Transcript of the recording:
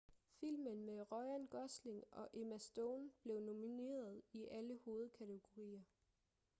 filmen med ryan gosling og emma stone blev nomineret i alle hovedkategorier